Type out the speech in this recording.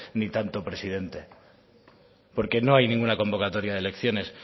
ni tanto presidente porque no hay ninguna convocatoria de elecciones